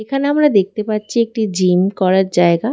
এখানে আমরা দেখতে পাচ্ছি একটি জিম করার জায়গা।